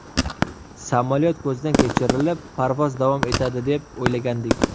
Samolyot ko‘zdan kechirilib, parvoz davom etadi deb o‘ylagandik.